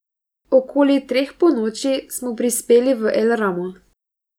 Okoli treh ponoči smo prispeli v El Ramo.